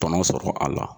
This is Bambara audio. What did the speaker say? Tɔnɔ sɔrɔ a la